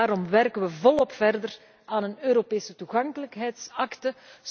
Daarom werken wij volop verder aan een Europese toegankelijkheidsakte.